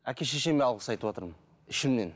әке шешеме алғыс айтыватырмын ішімнен